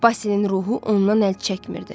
Basilin ruhu ondan əl çəkmirdi.